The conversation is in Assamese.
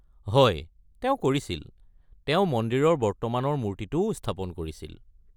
হয় তেওঁ কৰিছিল, তেওঁ মন্দিৰৰ বৰ্তমানৰ মূৰ্তিটোও স্থাপন কৰিছিল।